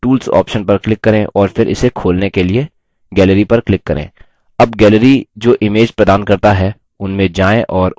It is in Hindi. वैकल्पिक रूप से menu bar में tools option पर click करें और फिर इसे खोलने के लिए gallery पर click करें